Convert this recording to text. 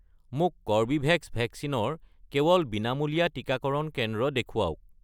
মোক কৰ্বীভেক্স ভেকচিনৰ কেৱল বিনামূলীয়া টিকাকৰণ কেন্দ্ৰ দেখুৱাওক